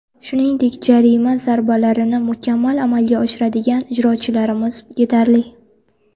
Shuningdek, jarima zarbalalarini mukammal amalga oshiradigan ijrochilarimiz yetarli.